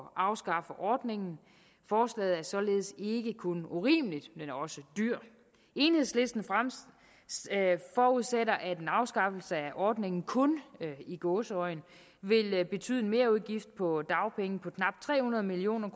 at afskaffe ordningen forslaget er således ikke kun urimeligt men også dyrt enhedslisten forudsætter at en afskaffelse af ordningen kun i gåseøjne vil betyde en merudgift på dagpenge på knap tre hundrede million